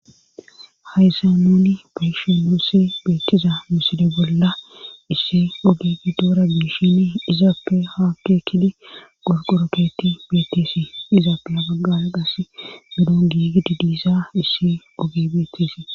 hayssa nuni bayishi nuse beettiza miside bolla isse ogegi doora giishini izaappe haakke kidi gorqoroketi beeteesi izaappe a baggala qasse medon giigidi diisa isse oge betteesee